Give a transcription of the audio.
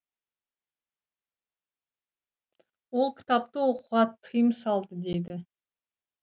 ол кітапты оқуға тыйым салды дейді